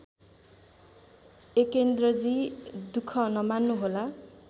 एकेन्द्रजी दुख नमान्नुहोला